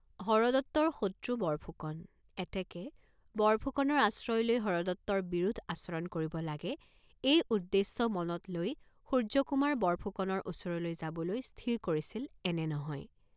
হৰদত্তৰ শত্ৰু বৰফুকন, এতেকে বৰফুকনৰ আশ্ৰয় লৈ হৰদত্তৰ বিৰোধ আচৰণ কৰিব লাগে এই উদ্দেশ্য মনত লৈ সূৰ্য্যকুমাৰ বৰফুকনৰ ওচৰলৈ যাবলৈ স্থিৰ কৰিছিল এনে নহয়।